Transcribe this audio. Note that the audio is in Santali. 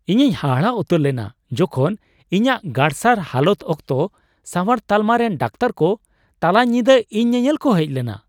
ᱤᱧᱤᱧ ᱦᱟᱦᱟᱲᱟᱜ ᱩᱛᱟᱹᱨ ᱞᱮᱱᱟ ᱡᱚᱠᱷᱚᱱ ᱤᱧᱟᱹᱜ ᱜᱟᱨᱥᱟᱲ ᱦᱟᱞᱚᱛ ᱚᱠᱛᱚ ᱥᱟᱣᱟᱨ ᱛᱟᱞᱢᱟᱨᱮᱱ ᱰᱟᱠᱛᱟᱨ ᱠᱚ ᱛᱟᱞᱟ ᱧᱤᱫᱟᱹ ᱤᱧ ᱧᱮᱧᱮᱞ ᱠᱚ ᱦᱮᱡ ᱞᱮᱱᱟ ᱾